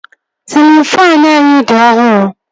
Sịlịn faanụ anyị dị ọhụrụ